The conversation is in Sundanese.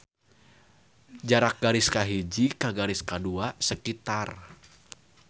Jarak garis kahiji ka garis kadua sekitar.